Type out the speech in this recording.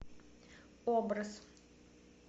образ